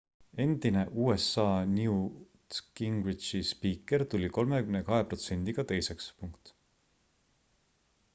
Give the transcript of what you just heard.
endine usa newt gingrichi spiiker tuli 32 protsendiga teiseks